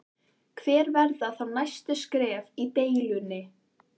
Hver verða þá næstu skref í deilunni?